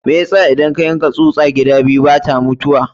Me yasa idan ka yanka tsusa gida biyu bata mutuwa?